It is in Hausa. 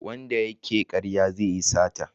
Wanda ya ke karya zai yi sata